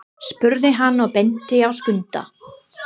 spurði hann og benti á Skunda.